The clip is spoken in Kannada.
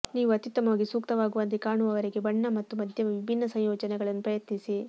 ನೀವು ಅತ್ಯುತ್ತಮವಾಗಿ ಸೂಕ್ತವಾಗುವಂತೆ ಕಾಣುವವರೆಗೆ ಬಣ್ಣ ಮತ್ತು ಮಧ್ಯಮ ವಿಭಿನ್ನ ಸಂಯೋಜನೆಗಳನ್ನು ಪ್ರಯತ್ನಿಸಿ